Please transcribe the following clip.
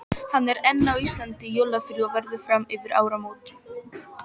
Hann er enn á Íslandi í jólafríi og verður fram yfir áramót.